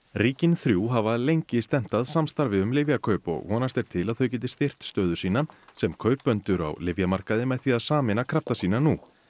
ríkin þrjú hafa lengi stefnt að samstarfi um lyfjakaup og vonast er til að þau geti styrkt stöðu sína sem kaupendur á lyfjamarkaði með því að sameina krafta sína nú